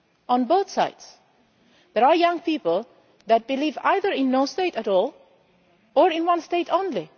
On both sides, there are young people who believe either in no state at all or in one state only.